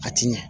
A ti ɲɛ